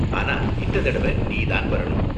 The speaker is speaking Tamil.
ஆனா இந்த தடவ நீ தான் வரணும்.